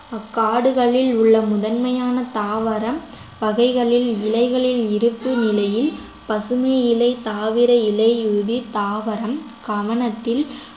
அக்காடுகளில் உள்ள முதன்மையான தாவரம் பகைகளில் இலைகளில் இருக்கும் நிலையில் பசுமை இலை தாவர இலையுடன் தாவரம் கவனத்தில்